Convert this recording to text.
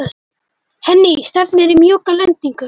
Henný, stefnir í mjúka lendingu?